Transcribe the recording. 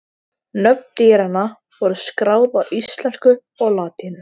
Nöfn dýranna voru skráð á íslensku og latínu.